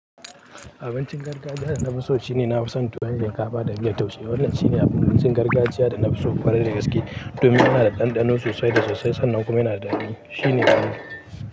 Abincin gargajiya da na fiso shine, na fi son tuwon shinkafa da miyar taushe. Wannan shine abincin gargajiya da na fiso kwarai da gaske. Domin yana da ɗanɗano sosai da sosai sannan kuma yana da daɗi. Shi ne abinci.